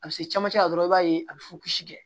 A bɛ se camancɛ la dɔrɔn i b'a ye a bɛ fukisi kɛ